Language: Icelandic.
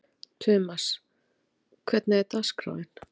Tumas, hvernig er dagskráin?